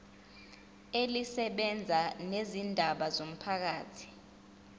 elisebenza ngezindaba zomphakathi